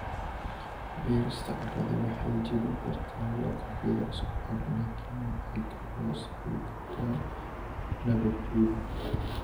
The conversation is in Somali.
Beerista carrada waxay jebin kartaa lakabyada isku xiran laakiin waxay kaloo sababi kartaa nabaadguur.